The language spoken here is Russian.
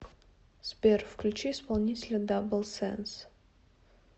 сбер включи исполнителя дабл сенс